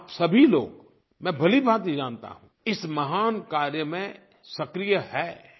और आप सभी लोग मैं भलीभांति जानता हूँ इस महान कार्य में सक्रिय हैं